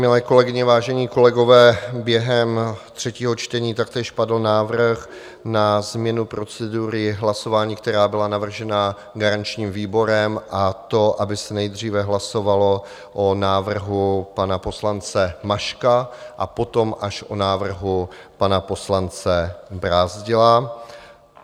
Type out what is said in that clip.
Milé kolegyně, vážení kolegové, během třetího čtení taktéž padl návrh na změnu procedury hlasování, která byla navržena garančním výborem, a to aby se nejdříve hlasovalo o návrhu pana poslance Maška a potom až o návrhu pana poslance Brázdila.